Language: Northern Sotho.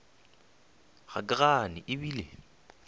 ga ke gane e bile